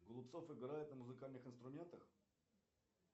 голубцов играет на музыкальных инструментах